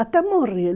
Até morrer.